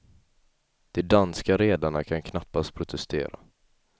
De danska redarna kan knappast protestera.